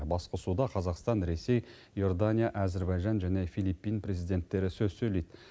басқосуда қазақстан ресей иордания әзербайжан және филиппин президенттері сөз сөйлейді